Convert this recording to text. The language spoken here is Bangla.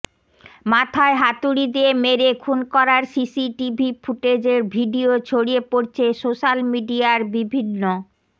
মাথায় হাতুড়ি দিয়ে মেরে খুন করার সিসিটিভি ফুটেজের ভিডিয়ো ছড়িয়ে পড়ছে সোশ্যাল মিডিয়ার বিভিন্ন